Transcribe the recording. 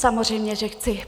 Samozřejmě, že chci.